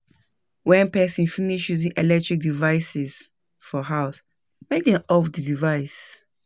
When person finish using electric devices for house make dem off di device